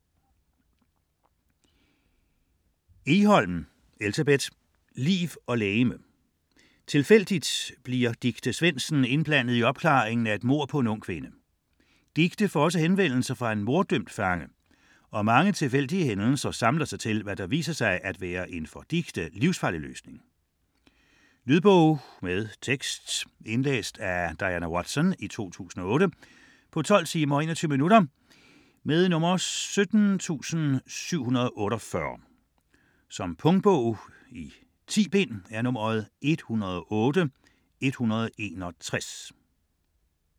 Egholm, Elsebeth: Liv og legeme Tilfældigt bliver Dicte Svendsen indblandet i opklaringen af et mord på en ung kvinde. Dicte får også henvendelse fra en morddømt fange, og mange tilfældige hændelser samler sig til, hvad der viser sig at være en for Dicte livsfarlig løsning. Lydbog med tekst 17748 Indlæst af Diana Watson, 2008. Spilletid: 12 timer, 21 minutter. Punktbog 108161 2008. 10 bind.